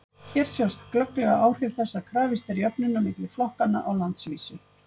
Hér sjást glögglega áhrif þess að krafist er jöfnunar milli flokkanna á landsvísu.